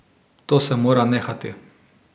To se mora nehati.